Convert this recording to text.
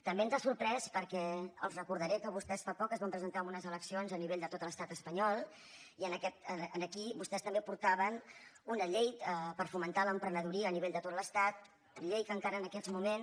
també ens ha sorprès perquè els recordaré que vostès fa poc es van presentar en unes eleccions a nivell de tot l’estat espanyol i aquí vostès també portaven una llei per fomentar l’emprenedoria a nivell de tot l’estat llei que encara en aquests moments